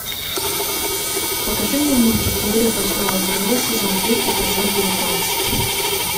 покажи мне мультик теория большого взрыва сезон три эпизод девятнадцать